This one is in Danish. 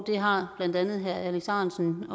det har blandt andet herre alex ahrendtsen